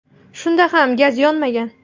Shunda ham gaz yonmagan.